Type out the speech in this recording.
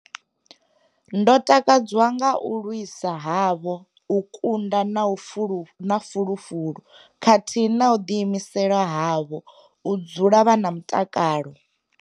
Ndo takadzwa nga u lwisa havho, u kunda na fulufulu khathihi na u ḓiimisela havho, u dzula vha na mutakalo.